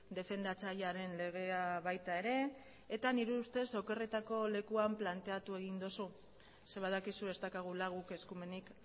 defendatzailearen legea baita ere eta nire ustez okerretako lekuan planteatu egin duzu ze badakizu ez daukagula guk eskumenik